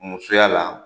Musoya la